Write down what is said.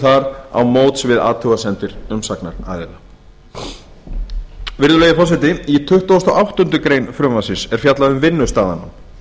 þar á móts við athugasemdir umsagnaraðila og eftirliti og mati á þörfum virðulegi forseti í tuttugasta og áttundu greinar frumvarpsins er fjallað um vinnustaðanám